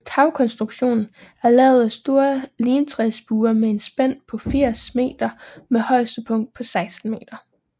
Tagkonstruktionen er lavet af store limtræsbuer med et spænd på 80 meter med højeste punkt på 16 meter